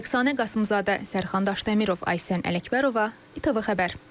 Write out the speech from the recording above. Rəqsanə Qasımzadə, Sərxan Daşdəmirov, Aysən Ələkbərova, ATV Xəbər.